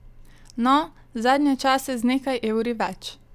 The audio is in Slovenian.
No, zadnje čase z nekaj evri več.